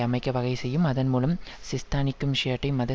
அமைக்க வகை செய்யும் அதன் மூலம் சிஸ்தானிக்கும் ஷியைட் மத